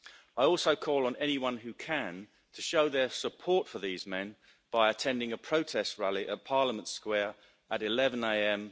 I also call on anyone who can, to show their support for these men by attending a protest rally at Parliament Square at 11a.m.